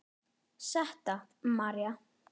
Setta María.